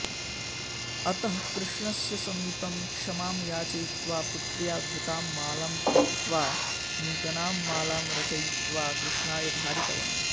अतः कृष्णस्य समीपं क्षमां याचयित्वा पुत्र्या धृतां मालां त्यक्त्वा नूतनां मालां रचयित्वा कृष्णाय धारितवान्